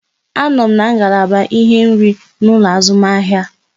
A nọ m n'ngalaba ihe nri n'ụlọ azụmahịa